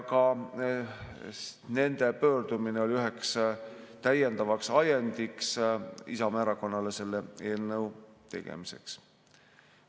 Ka nende pöördumine oli üheks täiendavaks ajendiks Isamaa Erakonnale selle eelnõu tegemiseks.